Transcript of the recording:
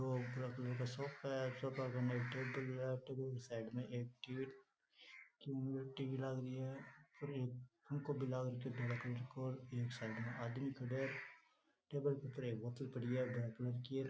भूरा colour का sofa है sofa क माईन टेबल है टेबल क साइड म एक टीवी लाग रखी है ऊपर एक पंखो भी लाग रखयो है धोला कलर को बीके साइड म एक आदमी खड्यो है टेबल पर बोतल पड़ी है।